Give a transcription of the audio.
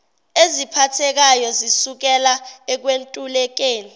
eziphathekayo zisukela ekwentulekeni